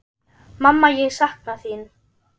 Mamma ég sakna þín.